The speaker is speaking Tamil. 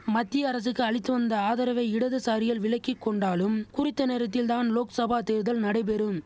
மத்திய அரசுக்கு அளித்து வந்த ஆதரவை இடதுசாரிகள் விலக்கி கொண்டாலும் குறித்த நேரத்தில்தான் லோக்சபா தேர்தல் நடைபெறும்